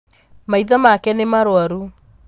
Maitho make nī marwaru